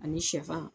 Ani sɛfan